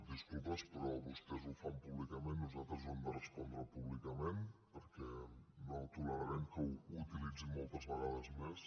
disculpes però vostès ho fan públicament nosaltres ho hem de respondre públicament perquè no tolerarem que ho utilitzin moltes vegades més